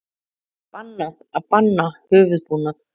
Bannað að banna höfuðbúnað